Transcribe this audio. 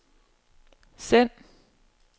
send